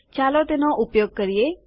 ચાલો તેનો ઉપયોગ કરીએ